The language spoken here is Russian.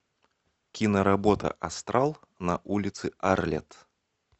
киноработа астрал на улице арлетт